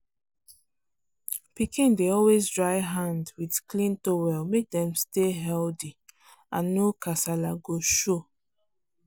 pikin dey always dry hand with clean towel make dem stay healthy and no kasala go show.